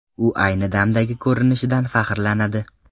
U ayni damdagi ko‘rinishidan faxrlanadi.